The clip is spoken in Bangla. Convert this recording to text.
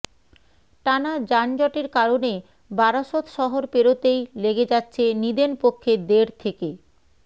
টানা যানজটের কারণে বারাসত শহর পেরোতেই লেগে যাচ্ছে নিদেনপক্ষে দেড় থেকে